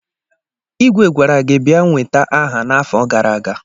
Igwe gwara gi bia nweta aha n'afo gara aga!